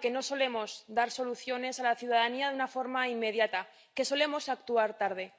que no solemos dar soluciones a la ciudadanía de una forma inmediata, que solemos actuar tarde.